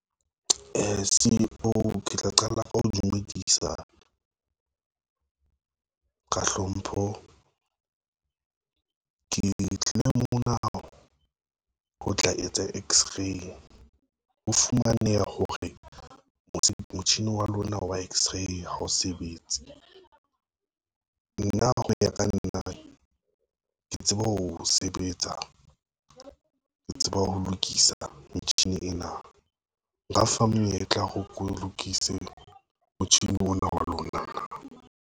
C_E_O ke tla qala ka ho dumedisa, ka hlompho, ke tlile mona ho tla etsa x-ray ho fumaneha hore motjhini wa lona wa x-ray hao sebetse. Nna ho ya ka nna ke tseba ho sebetsa, ke tseba ho lokisa metjhini ena, nka fa menyetla ho re ke o lokise motjhini ona wa lona.